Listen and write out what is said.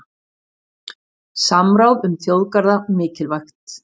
Samráð um þjóðgarða mikilvægt